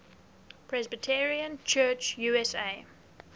presbyterian church usa